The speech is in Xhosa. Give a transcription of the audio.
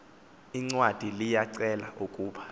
incwadi liyicela ukuba